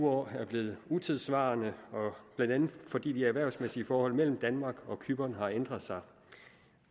år er blevet utidssvarende blandt andet fordi de erhvervsmæssige forhold mellem danmark og cypern har ændret sig